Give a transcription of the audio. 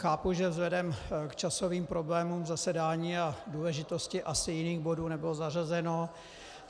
Chápu, že vzhledem k časovým problémům zasedání a důležitosti asi jiných bodů nebylo zařazeno.